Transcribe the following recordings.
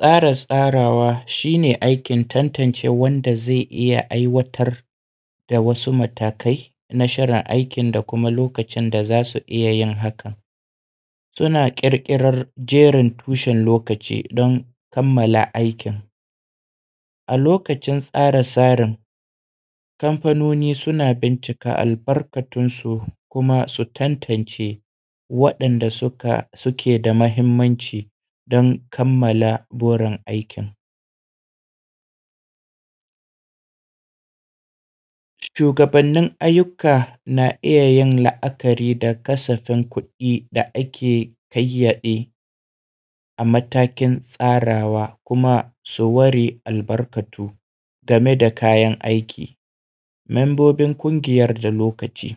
Tsara tsarawa shine aikin tantance wanda zai iyya ai watar da wasu matakai na shirin aikin da kuma lokacin da zasu iyya yin hakan. Suna ƙirƙiran gerin tushen lokaci ne dan kammala aikin, a lokacin tsara tsarin kamfanoni suna bincika al barkatun su kuma su tantance wa ‘yan’da suke da mahimmanci dan kammala burin aikin. Shugabanin ayyuka na’iyayin la’akari da kasafin kuɗi da ake ƙayayyade a tamakin tsarawa kuma sun ware albarkatu game da kayan aiki, membobin kungiyan da lokaci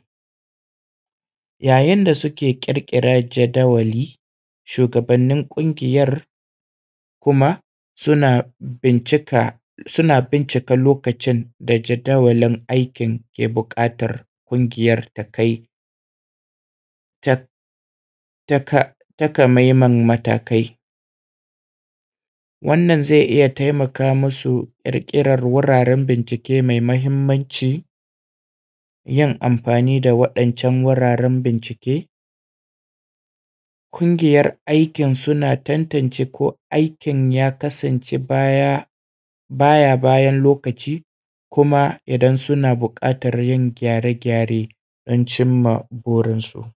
ya yinda suke ƙirƙiran jadawali shugaban kungiyan suna bincika lokacin da jadawalin aikin ke buƙatan kungiyar ke buƙatar ta kai. Takamammen matakai wannan zai iyya taimaka masu ƙirƙiran wurare mai mahimmanci yin amfani da wannan wuraren bincike, kungiyar aikin suna tantance ko aikin ya kasan ce baya bayan lokaci kuma idan suna buƙatan yin gyare gyare dan cimma burin su.